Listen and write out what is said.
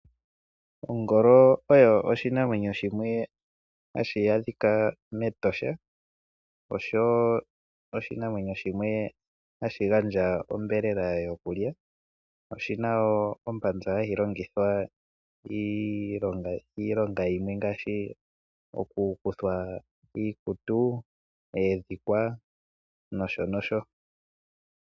Ongolo oyo oshinamwenyo shimwe hashi adhika meEtosha oshowo oshinamwenyo shimwe hashi gandja onyama yokulya. Oshina wo ombanza hayi longithwa iilonga yimwe ngaashi okukuthwa iikutu, oondhikwa nosho nosho.